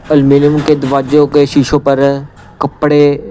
aluminium के दरवाजों के शीशों पर कपड़े --